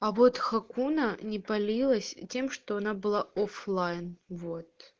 а вот хакуна не палилась тем что она была оффлайн вот